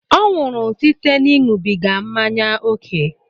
Ọ nwụrụ site n'ịṅụbiga mmanya ókè